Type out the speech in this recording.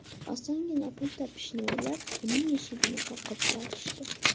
Osongina pul topishni o‘ylab, uning eshigini qoqib borishdi.